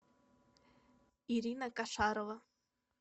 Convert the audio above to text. ирина кошарова